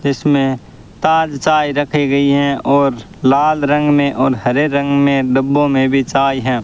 इसमें ताज चाय रखी गई हैं और लाल रंग में और हरे रंग में डब्बो में भी चाय हैं।